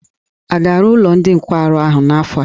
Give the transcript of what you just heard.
A ga-arụ ụlọ ndị nkwarụ ahụ n'afọ a?